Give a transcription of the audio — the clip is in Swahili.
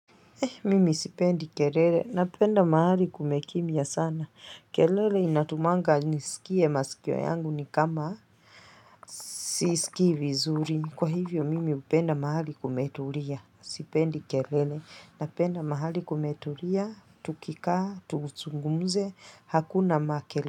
Mimi sipendi kelele, napenda mahali kumekimya sana. Kelele inatumanga nisikie masikio yangu ni kama sisiki vizuri. Kwa hivyo, mimi hupenda mahali kumetulia. Sipendi kelele, napenda mahali kumetulia, tukika, tuzungumze, hakuna makelele.